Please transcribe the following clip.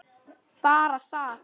Bara sat.